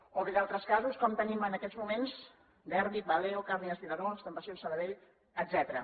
o bé d’altres casos com tenim en aquests moments derbi valeo càrnies vilaró estampacions sabadell etcètera